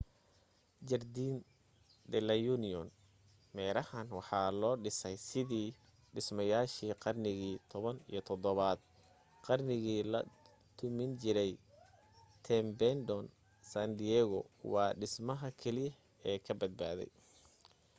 jardin de la union.meerahan waxaa loo dhisay sidii dhismayaashii qarnigii 17 aad qarnigii la dumin jiray tempedon san diego waa dhismaha keliya ee kabadbaaday